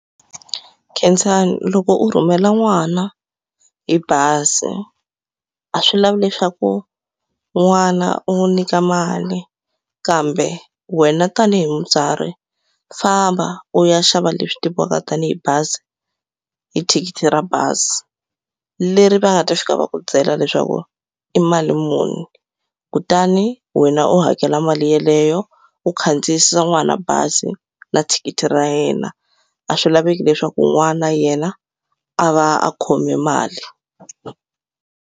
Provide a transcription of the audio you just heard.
Khensani loko u rhumela n'wana hi bazi a swi lavi leswaku n'wana u n'wi nyika mali kambe wena tanihi mutswari famba u ya xava leswi tiviwaka tanihi bazi hi thikithi ra bazi leri va nga ta fika va ku byela leswaku i mali muni kutani wena u hakela mali yeleyo u khandziyisa n'wana bazi na thikithi ra yena a swi laveki leswaku n'wana yena a va a khome mali.